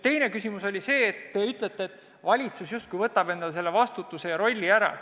Teine küsimus puudutas seda, et te ütlete, et valitsus justkui annab endalt selle vastutuse ja rolli ära.